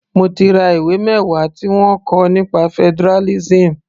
Mo ti ra ìwé mẹwa tí wọ́n kọ nípa federalism.